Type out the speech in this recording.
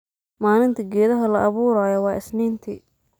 Malinti geedhaha laaburayo wa isninti.